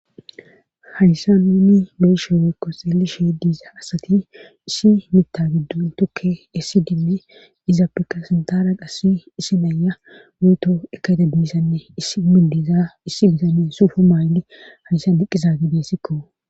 hayssa nuni beshe weekko xeeli shee diiza asati issi mita giddun tokke essi dimme izaa peka sintara qassi isi meyya weyto ekaete biissanne is mindiza issi disanne suufu maayndi hayssa diqqiza gidesikko